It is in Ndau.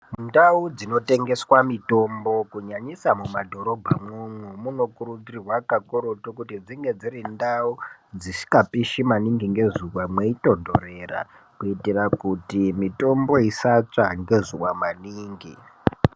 Ndau dzinotengeswa mitombo kunyanyisa mumadhorobhamwo umwo munokurudzirwa kakuretu kuti dzinge dziri ndau dzishikapishi maningi ngezuwa mweitondorera kuitira kuti mitombo isatsva ngezuwa maningi.